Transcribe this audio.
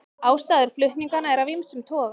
Ástæður flutninganna eru af ýmsum toga